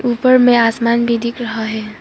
ऊपर में आसमान भी दिख रहा है।